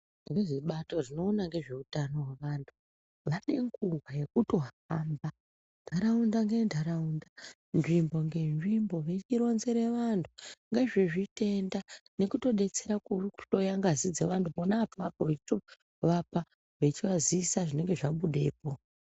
Vezvebato rinoona ngezveutano hwevantu vane nguva yekutohamba ntaraunda ngentaraunda nzvimbo ngenzvimbo veichironzere vantu ngezvezvitenda nekutodetsera kuhloya ngazi dzevantu pona apapo veitorapa vechivazivise zvinenge zvabudepo.